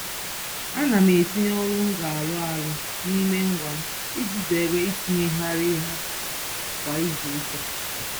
Ana m etinye ọrụ m ga-arụ arụ n'ime ngwa m iji zeere itinyegharị ha kwa izuụka.